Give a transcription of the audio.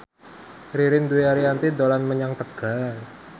Ririn Dwi Ariyanti dolan menyang Tegal